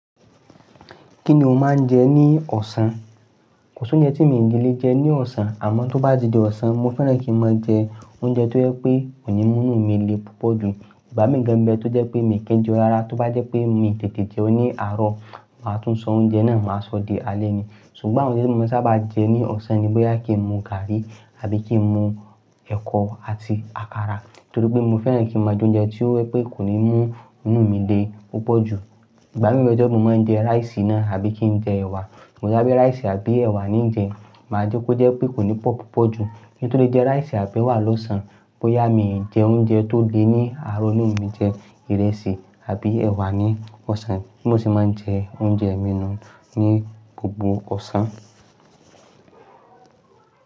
Kí ni o máa ń jẹ ní ọ̀sán? Kò sí oúnjẹ tí mi ò lè jẹ ní ọ̀sán, àmọ́ tó bá di ọ̀sán mo fẹ́ràn kí n máa jẹ oúnjẹ tó jẹ́ pé kò ní mú inù mí le púpọ̀ jù. Ìgbà mií gan n be tó jẹ́ pé mii ki n jẹun rárá tó bá jẹ́ pé mii tètè jẹun ní àárọ̀, màá tún sọ oúnjẹ náà máa sọ di alé ni. Ṣùgbọ́n àwọn oúnjẹ tí mo saábà jẹ ní ọ̀sán ni bóyá kí n mu gààrí àbí kí n mu ẹ̀kọ àti àkàrà. Nítorí pé mo fẹ́ràn kí n máa jẹ oúnjẹ tí ó jẹ́ pé kò ní mú inù mí le púpọ̀ jù. Ìgbà mí bẹ́ tó jẹ́ pé mo máa ń jẹ ráìsì náà àbí kí n jẹ ẹ̀wà. Tí mo bá rí ráìsì àbí ẹ̀wà, n jẹ, màá jẹ́ kó jẹ́ pé kò ní pọ̀ púpọ̀ jù. Kín tó lè jẹ ráìsì àbí ẹ̀wà lọ́sàn-án, bóyá mii jẹ oúnjẹ tó le ní àárọ̀ ni mi jẹ ìrẹsì àbí ẹ̀wà ní ọ̀sán, bí mo ṣe máa ń jẹ oúnjẹ mi nù ní gbogbo ọ̀sán.